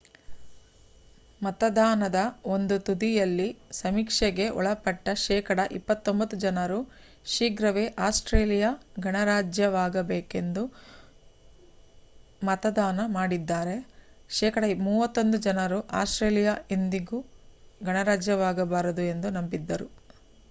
ಮತದಾನದ ಒಂದು ತುದಿ ಯಲ್ಲಿ ಸಮೀಕ್ಷೆಗೆ ಒಳಪಟ್ಟ ಶೇಕಡ 29 ಜನರು ಶೀಘ್ರವೇ ಆಸ್ಟ್ರೇಲಿಯಾ ಗಣರಾಜ್ಯವಾಗಬೇಕು ಎಂದು ಮತದಾನ ಮಾಡಿದರೆ ಶೇಕಡ 31 ಜನರು ಅಸ್ಟ್ರೇಲಿಯಾ ಎಂದಿಗೂ ಗಣರಾಜ್ಯವಾಗಬಾರದು ಎಂದು ನಂಬಿದ್ದರು